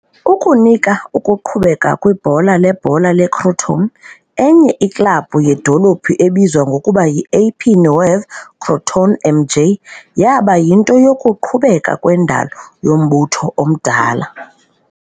Ukunika ukuqhubeka kwibhola lebhola leCrotone, enye iklabhu yedolophi ebizwa ngokuba yi"-AP Nuova Crotone MJ" yaba yinto yokuqhubeka kwendalo yombutho omdala.